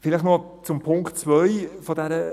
Vielleicht noch zum Punkt 2 dieses Vorstosses